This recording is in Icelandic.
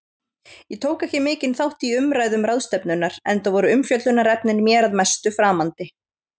Ég tók ekki mikinn þátt í umræðum ráðstefnunnar, enda voru umfjöllunarefnin mér að mestu framandi.